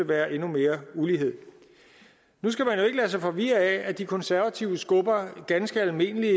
være endnu mere ulighed nu skal man jo ikke lade sig forvirre af at de konservative skubber ganske almindelige